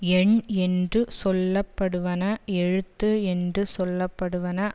எண் என்று சொல்ல படுவன எழுத்து என்று சொல்ல படுவன